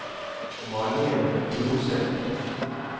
Malene Furuseth